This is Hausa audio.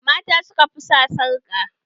Mata suka fi sa sarƙa